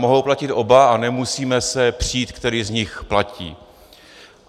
Mohou platit oba a nemusíme se přít, který z nich platí.